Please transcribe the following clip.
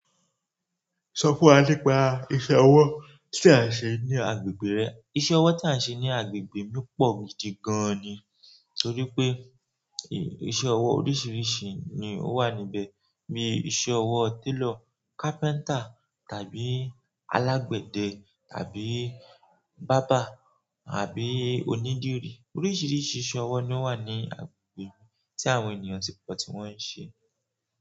Sọ fún wa nípa iṣẹ́ ọwọ́ tí à ń ṣe ní agbègbè rẹ. Iṣẹ́ ọwọ́ tí a ń ṣe ní agbègbè mí pọ̀ gidi gan ni, torí pé iṣẹ́ ọwọ́ oríṣiríṣi ni ó wà níbẹ̀, bíi iṣẹ́ ọwọ́ télọ̀, carpenter tàbí alágbẹ̀dẹ tàbí berber àbí onídìrí. Oríṣiríṣi iṣẹ́ ọwọ́ ni ó wà ní agbègbè mi tí àwọn ènìyàn ti pọ̀ tí wọ́n ń ṣe.